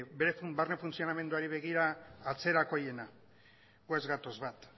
bere barne funtzionamenduari begira atzerakoiena gu ez gatoz bat